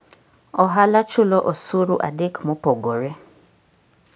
Ohala chulo osuru adek mopogore.